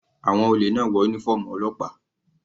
Àwọn olè náà wọ uniform ọlọ́pàá.